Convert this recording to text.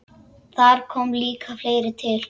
Þar kom líka fleira til.